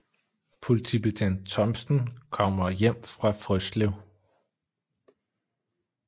Politibetjent Thomsen kommer hjem fra Frøslev